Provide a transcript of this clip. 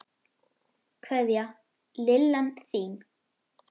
Kveðja, Lillan þín.